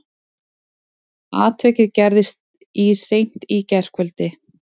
Atvikið gerðist í seint í gærkvöldi